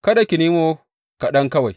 Kada ki nemo kaɗan kawai.